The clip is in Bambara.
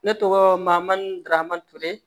Ne tɔgɔ mamadu darama ture